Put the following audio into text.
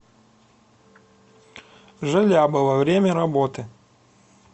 желябова время работы